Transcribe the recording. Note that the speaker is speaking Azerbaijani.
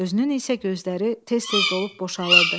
Özünün isə gözləri tez-tez dolub boşalırdı.